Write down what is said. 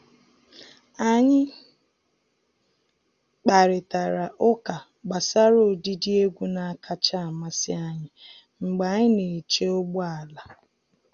Anyị kparịtara ụka gbasara ụdịdị egwu na-akacha amasị anyị mgbe anyị na-eche ụgbọ ala.